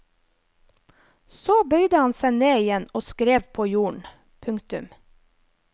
Så bøyde han seg ned igjen og skrev på jorden. punktum